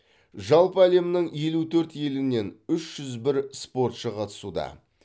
жалпы әлемнің елу төрт елінен үш жүз бір спортшы қатысуда